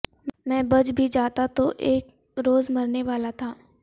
میں بچ بھی جاتا تو اک روز مرنے والاتھا